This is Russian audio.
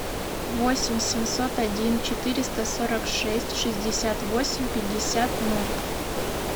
восемь семьсот один четыреста сорок шесть шестьдесят восемь пятьдесят ноль